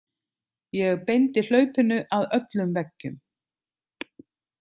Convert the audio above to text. Ég beindi hlaupinu að öllum veggjum.